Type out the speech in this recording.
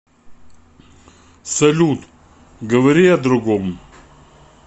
салют говори о другом